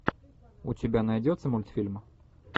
у тебя найдется мультфильм